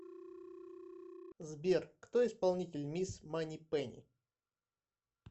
сбер кто исполнитель мисс манипенни